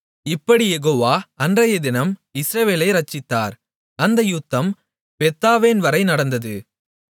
இப்படிக் யெகோவா அன்றையதினம் இஸ்ரவேலை இரட்சித்தார் அந்த யுத்தம் பெத்தாவேன் வரை நடந்தது